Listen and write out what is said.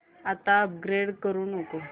आता अपग्रेड करू नको